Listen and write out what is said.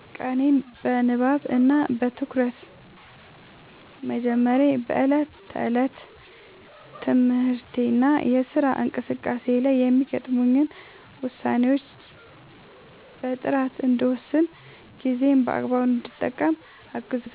ቀኔን በንባብ እና በትኩረት በመጀመሬ በዕለት ተዕለት የትምህርትና የሥራ እንቅስቃሴዎቼ ላይ የሚገጥሙኝን ውሳኔዎች በጥራት እንድወስንና ጊዜዬን በአግባቡ እንድጠቀም አግዞኛል።